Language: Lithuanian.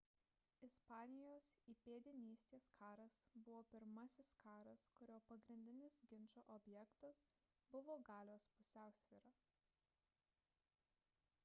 ispanijos įpėdinystės karas buvo pirmasis karas kurio pagrindinis ginčo objektas buvo galios pusiausvyra